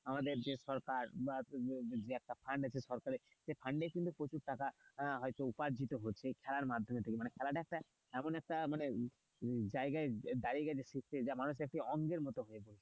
আমাদের যে সরকার বা যে ফান্ড আছে সরকারের fund এর যে প্রচুর টাকা হয়তো উপার্জিত হচ্ছে এই খেলার মাধ্যমে থেকে মানে খেলাটা একটা এমন এমন একটা মানে জায়গা দাঁড়িয়ে গেছে যে মানুষের একটা অঙ্গের মতো হয়ে গেছে।